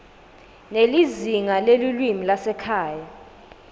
nelizingaa lelulwimi lwasekhaya